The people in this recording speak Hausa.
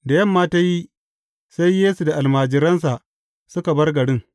Da yamma ta yi, sai Yesu da almajiransa suka bar garin.